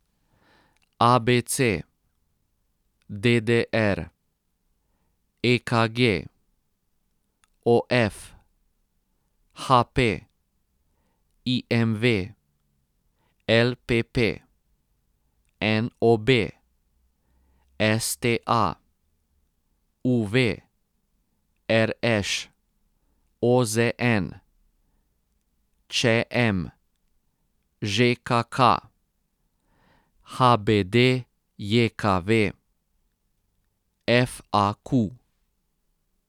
A B C; D D R; E K G; O F; H P; I M V; L P P; N O B; S T A; U V; R Š; O Z N; Č M; Ž K K; H B D J K V; F A Q.